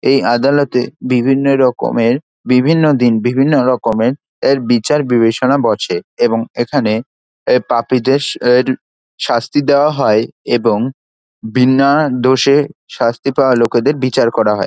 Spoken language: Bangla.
এই আদালতে বিভিন্ন রকমের বিভিন্ন দিন বিভিন্ন রকমের এর বিচার বিবেচনা বসে এবং এখানে এ পাপীদের এর শাস্তি দেওয়া হয় এবং বিনা দোষে শাস্তি পাওয়া লোকেদের বিচার করা হয়।